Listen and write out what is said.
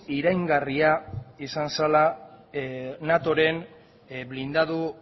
iraingarria izan zela natoren blindatu